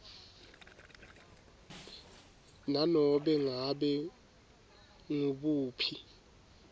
nanobe ngabe ngubuphi